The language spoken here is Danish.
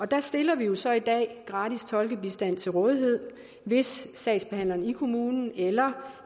der stiller vi jo så i dag gratis tolkebistand til rådighed hvis sagsbehandleren i kommunen eller